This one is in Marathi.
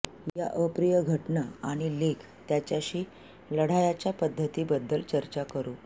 या अप्रिय घटना आणि लेख त्याच्याशी लढाया च्या पद्धती बद्दल चर्चा करू